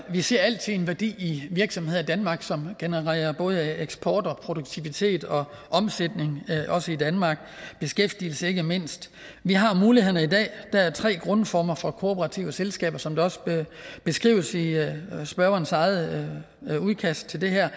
vi ser altid en værdi i virksomheder i danmark som genererer både eksport og produktivitet og omsætning også i danmark og beskæftigelse ikke mindst vi har mulighederne i dag der er tre grundformer for kooperative selskaber som også beskrives i spørgerens eget udkast til det her